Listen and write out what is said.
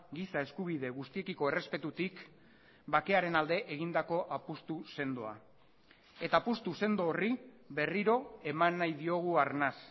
giza eskubide guztitiko errespetutik bakearen alde egindako apustu sendoa eta apustu sendo horri berriro eman nahi diogu arnas